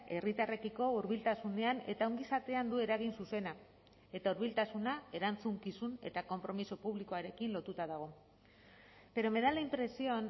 herritarrekiko hurbiltasunean eta ongizatean du eragin zuzena eta hurbiltasuna erantzukizun eta konpromiso publikoarekin lotuta dago pero me da la impresión